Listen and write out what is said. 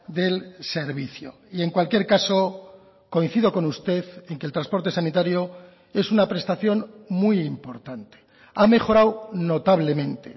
del servicio y en cualquier caso coincido con usted en que el transporte sanitario es una prestación muy importante ha mejorado notablemente